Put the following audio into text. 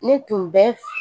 Ne tun bɛ